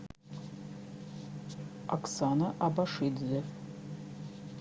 оксана абашидзе